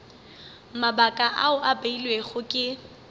mabaka ao a beilwego ke